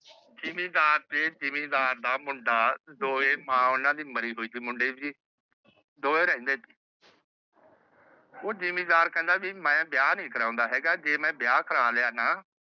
ਜਿਮੀਦਾਰ ਤੇ ਜਿਮੀਦਾਰ ਦਾ ਮੁੰਡਾ ਦੋਵੇ ਮਾਂ ਓਹਨਾ ਦੀ ਮਰੀ ਹੋਈ ਸੀ। ਦੋਵੇ ਰਹਿੰਦੇ ਸੀ। ਹੁਣ ਜਿਮੀਦਾਰ ਕਹਿੰਦਾ ਮੈ ਵਿਆਹ ਨਹੀਂ ਕਰਵਾਉਂਦਾ ਹੇਗਾ। ਜੇ ਮੈ ਵਿਆਹ ਕਰਵਾ ਲਿਆ ਨਾ